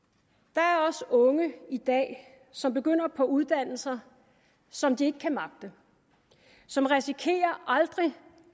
der er også unge i dag som begynder på uddannelser som de ikke kan magte som risikerer aldrig